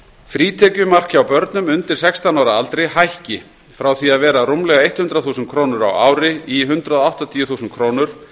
frítekjumark hjá börnum undir sextán ára aldri hækki frá því að vera rúmlega hundrað þúsund krónur á ári í hundrað áttatíu þúsund krónur